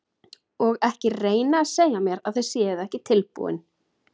Og ekki reyna að segja mér að þið séuð ekki tilbúin.